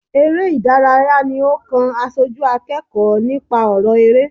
Eré ìdárayá ní ó kàn aṣojú akẹ́kọ̀ọ́ nípa ọrọ eré.